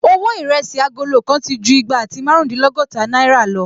Owó Ìrẹsí agolo kan ti ju igba àti márùndínlọ́gọ́ta náìrà lọ